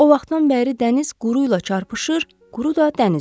O vaxtdan bəri dəniz quru ilə çarpışır, quru da dənizlə.